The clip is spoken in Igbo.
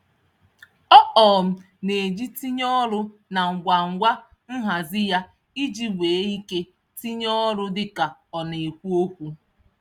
Ọ um na-eji ntinye olu na ngwa ngwa nhazi ya iji nwee ike tinye ọrụ dị ka ọ na-ekwu okwu.